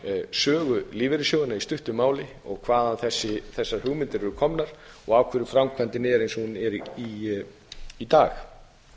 sögu lífeyrissjóðanna í stuttu máli og hvaðan þessar hugmyndir eru komnar og af hverju framkvæmdin er eins og hún er í dag ég held að það